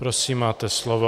Prosím, máte slovo.